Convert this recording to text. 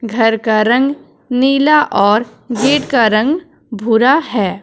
घर का रंग नीला और गेट का रंग भूरा है।